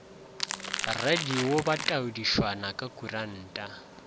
radio ba taodišwana ya kuranta